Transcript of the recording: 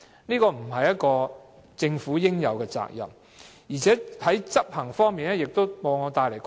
這不是政府應該做的，而且在執行方面往往帶來困難。